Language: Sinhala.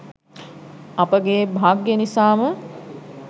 අපගේ භාග්‍යය නිසාම